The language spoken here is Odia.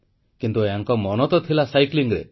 କିନ୍ତୁ ୟାଙ୍କ ମନ ତ ଥିଲା ସାଇକେଲ ଚାଳନାରେ